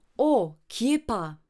O, kje pa!